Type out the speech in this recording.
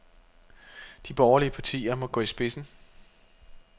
De borgerlige partier må gå i spidsen.